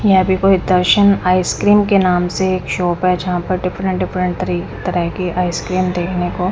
यहां पे कोई दर्शन आइसक्रीम के नाम से एक शॉप है जहां पर डिफरेंट डिफरेंट तरी तरह के आइसक्रीम देखने को--